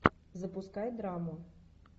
запускай драму